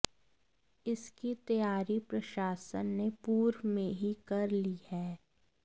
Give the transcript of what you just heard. इसकी तैयारी प्रशासन ने पूर्व में ही कर ली है